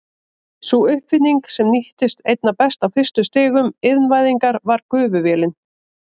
Sú uppfinning sem nýttist einna best á fyrstu stigum iðnvæðingar var gufuvélin.